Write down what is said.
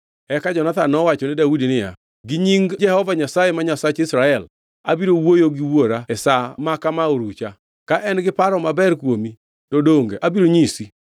Eka Jonathan nowachone Daudi niya, “Gi nying Jehova Nyasaye ma Nyasach Israel, abiro wuoyo gi wuora e sa maka ma orucha! Ka en gi paro maber kuomi, to donge abiro anyisi?